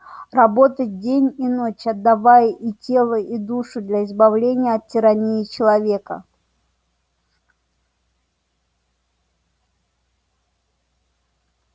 работать день и ночь отдавая и тело и душу для избавления от тирании человека